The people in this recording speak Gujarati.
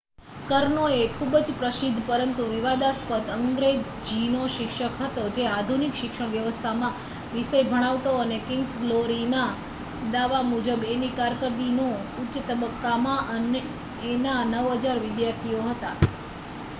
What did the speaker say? કર્નો એ ખુભ જ પ્રસિદ્ધ પરંતુ વિવાદાસ્પદ અંગ્રેજીનો શિક્ષક હતો જે આધુનિક શિક્ષણ વ્યવસ્થામાં વિષય ભણાવતો અને કિંગ્સ ગ્લોરીના દાવા મુજબ એની કારકિર્દીના ઉચ્ચ તબક્કામાં એના 9000 વિદ્યાર્થીઓ હતા